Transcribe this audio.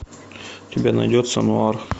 у тебя найдется нуар